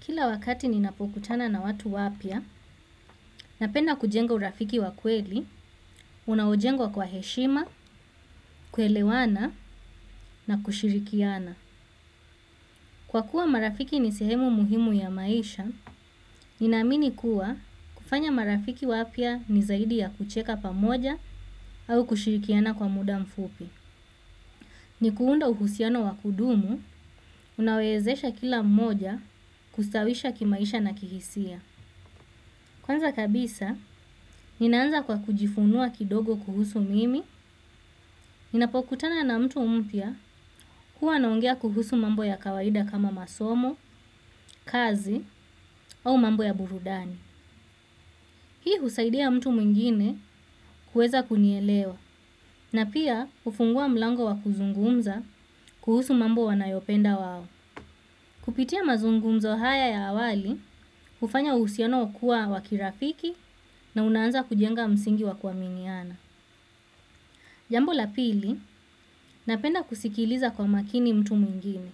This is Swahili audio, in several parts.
Kila wakati ninapokutana na watu wapia, napenda kujenga urafiki wakweli, unaujengwa kwa heshima, kuelewana na kushirikiana. Kwa kuwa marafiki nisehemu muhimu ya maisha, ninamini kuwa kufanya marafiki wapia nizaidi ya kucheka pamoja au kushirikiana kwa muda mfupi. Ni kuunda uhusiano wakudumu, unawezesha kila moja kustawisha kimaisha na kihisia. Kwanza kabisa, ninaanza kwa kujifunua kidogo kuhusu mimi, nina po kutana na mtu mpia kuwa naongea kuhusu mambo ya kawaida kama masomo, kazi, au mambo ya burudani. Hii husaidia mtu mwingine kueza kunielewa, na pia ufungua mlango wa kuzungumza kuhusu mambo wanayopenda wao. Kupitia mazungumzo haya ya awali, ufanya usiano kuwa wakirafiki na unaanza kujenga msingi wa kuaminiana. Jambo la pili, napenda kusikiliza kwa makini mtu mwingine.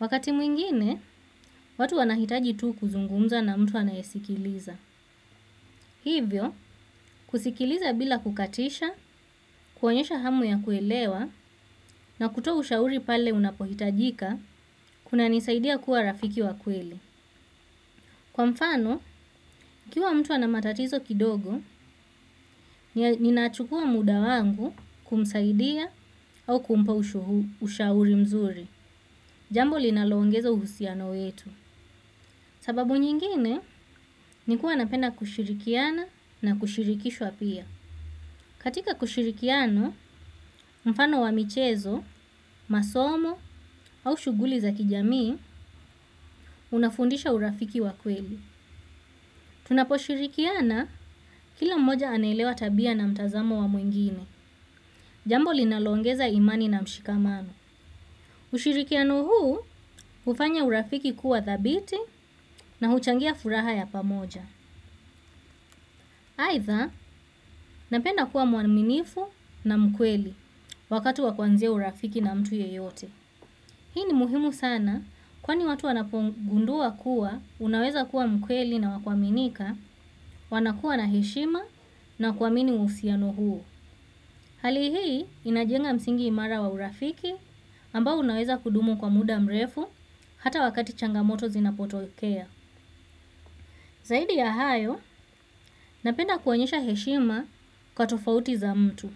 Wakati mwingine, watu wanahitaji tu kuzungumza na mtu anayesikiliza. Hivyo, kusikiliza bila kukatisha, kuonyesha hamu ya kuelewa na kutoa ushauri pale unapohitajika, kuna nisaidia kuwa rafiki wa kweli. Kwa mfano, ikiwa mtu anamatatizo kidogo, ninaachukua muda wangu kumsaidia au kumpa ushauri mzuri. Jambo linaloongeza uhusiano wetu sababu nyingine, nikuwa napenda kushirikiana na kushirikishwa pia. Katika kushirikiano, mfano wa michezo, masomo au shuguli za kijamii, unafundisha urafiki wa kweli. Tunapo shirikiana, kila mmoja anelewa tabia na mtazamo wa mwingine. Jambo linalongeza imani na mshikamano. Ushirikiano huu, ufanya urafiki kuwa thabiti na uchangia furaha ya pamoja. Aitha, napenda kuwa muaminifu na mkweli wakatu wakwanzia urafiki na mtu yeyote. Hii ni muhimu sana kwani watu wanapongundua kuwa, unaweza kuwa mkweli na wakwaminika, wanakuwa na heshima na kuamini usiano huo. Hali hii inajenga msingi imara wa urafiki ambao unaweza kudumu kwa muda mrefu hata wakati changamoto zinapotokea. Zaidi ya hayo, napenda kuanyesha heshima kwa tofauti za mtu.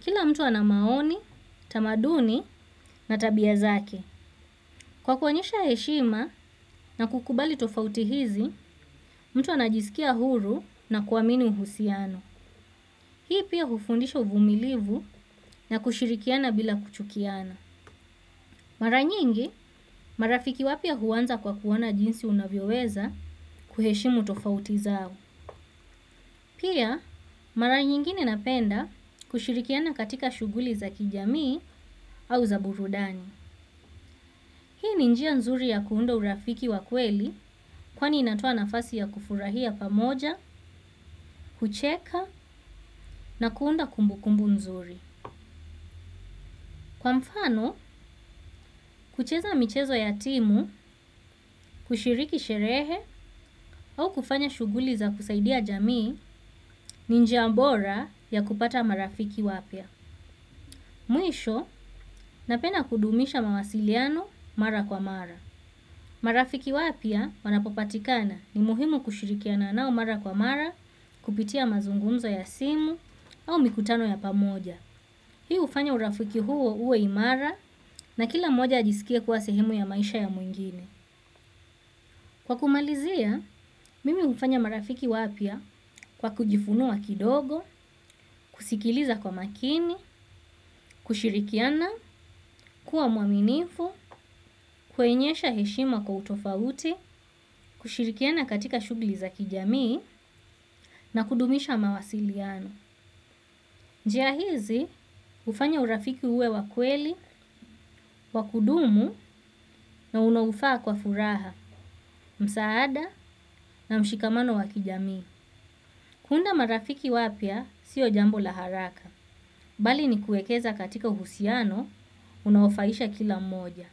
Kila mtu anamaoni, tamaduni na tabia zake. Kwa kuonyesha heshima na kukubali tofauti hizi, mtu anajisikia huru na kuwamini uhusiano. Hii pia hufundisha uvumilivu na kushirikiana bila kuchukiana. Mara nyingi, marafiki wapia huwanza kwa kuwona jinsi unavyoweza kuheshimu tofauti zao. Pia, mara nyingine napenda kushirikiana katika shuguli za kijamii au za burudani. Hii ni njia nzuri ya kuunda urafiki wa kweli kwani inatoa nafasi ya kufurahia pamoja, kucheka na kuunda kumbu kumbu nzuri. Kwa mfano, kucheza michezo ya timu, kushiriki sherehe au kufanya shuguli za kusaidia jamii ni njia mbora ya kupata marafiki wapia. Mwisho, napenda kudumisha mawasiliano mara kwa mara. Marafiki wapia wanapopatikana ni muhimu kushirikiana nao mara kwa mara, kupitia mazungunzo ya simu au mikutano ya pamoja. Hii ufanya urafiki huo uwe imara na kila moja ajisikia kuwa sehemu ya maisha ya mwingine. Kwa kumalizia, mimi ufanya marafiki wapia kwa kujifunua kidogo, kusikiliza kwa makini, kushirikiana, kuwa muaminifu, kuenyesha heshima kwa utofauti, kushirikiana katika shugli za kijamii na kudumisha mawasiliano. Njiahizi ufanya urafiki uwe wakweli, wakudumu na unaufaa kwa furaha, msaada na mshikamano wakijamii. Kunda marafiki wapia sio jambo laharaka. Bali ni kuekeza katika uhusiano, unaufaisha kila mmoja.